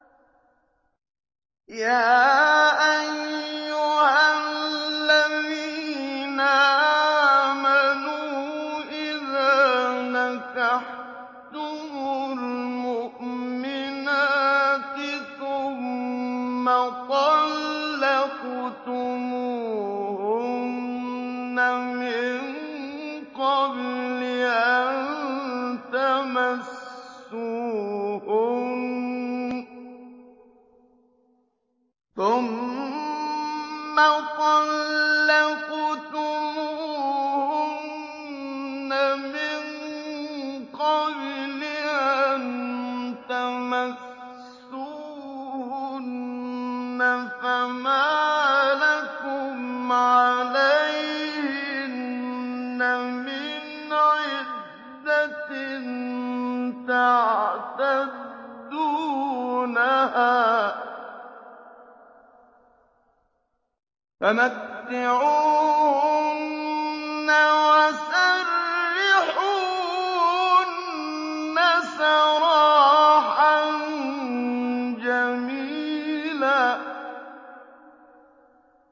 يَا أَيُّهَا الَّذِينَ آمَنُوا إِذَا نَكَحْتُمُ الْمُؤْمِنَاتِ ثُمَّ طَلَّقْتُمُوهُنَّ مِن قَبْلِ أَن تَمَسُّوهُنَّ فَمَا لَكُمْ عَلَيْهِنَّ مِنْ عِدَّةٍ تَعْتَدُّونَهَا ۖ فَمَتِّعُوهُنَّ وَسَرِّحُوهُنَّ سَرَاحًا جَمِيلًا